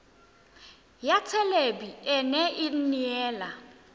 ya thelebi ene e neela